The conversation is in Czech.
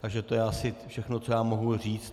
Takže to je asi všechno, co já mohu říct.